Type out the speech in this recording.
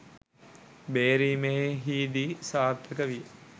බේරීමෙහි දී සාර්ථක විය